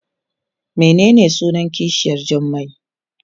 Menene sunan kishiyar Jummai?